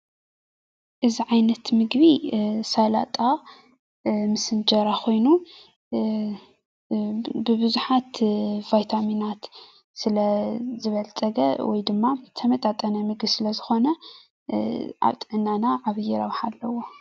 እዚ ዓይነት ምግቢ ሰላጣ ምስ እንጀራ ኮይኑ ብብዙሓት ቫይታሚናት ስለዝበልፀገ ወይ ድማ ተመጣጠነ ምግቢ ስለዝኮነ ኣብ ጥዕናና ዓብዪ ረብሓ ኣለዎ።